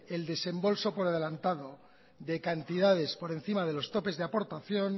el desembolso por adelantado de cantidades por encima de los topes de aportación